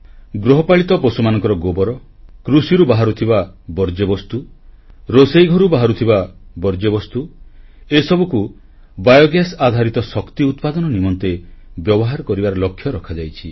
ଗୃହପାଳିତ ପଶୁମାନଙ୍କର ଗୋବର କୃଷିରୁ ବାହାରୁଥିବା ବର୍ଜ୍ୟବସ୍ତୁ ରୋଷେଇଘରୁ ବାହାରୁଥିବା ବର୍ଜ୍ୟବସ୍ତୁ ଏସବୁକୁ ବାୟୋଗ୍ୟାସ୍ ଆଧାରିତ ଶକ୍ତି ଉତ୍ପାଦନ ନିମନ୍ତେ ବ୍ୟବହାର କରିବାର ଲକ୍ଷ୍ୟ ରଖାଯାଇଛି